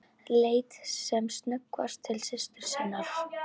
Leit sem snöggvast til systur sinnar.